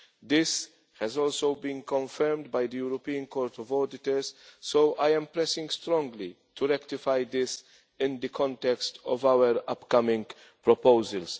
This has also been confirmed by the European Court of Auditors, so I am pressing strongly to rectify this in the context of our upcoming proposals.